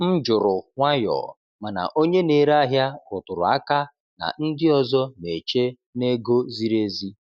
M jụrụ nwayọọ, mana onye na-ere ahịa rụtụrụ aka na ndị ọzọ na-eche na ego ziri ezi.